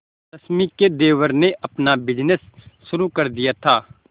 रश्मि के देवर ने अपना बिजनेस शुरू कर दिया था